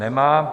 Nemá.